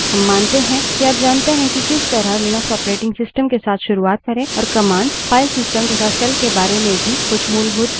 हम मानते हैं कि आप जानते हैं कि किस तरह लिनक्स operating systems के साथ शुरुआत करे और commands file systems तथा shell के बारे में कुछ मूलभूत ज्ञान भी है